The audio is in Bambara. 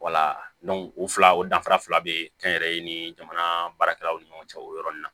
o fila o danfara fila be kɛnyɛrɛye ni jamana baarakɛlaw ni ɲɔgɔn cɛ o yɔrɔnin na